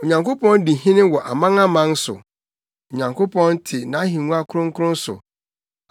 Onyankopɔn di hene wɔ amanaman no so; Onyankopɔn te nʼahengua kronkron so.